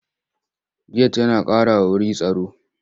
Get yana ƙarawa wuru tsaro.